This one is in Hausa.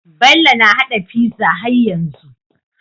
Bello na hada pizza har yanzu